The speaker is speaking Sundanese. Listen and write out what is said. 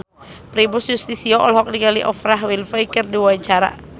Primus Yustisio olohok ningali Oprah Winfrey keur diwawancara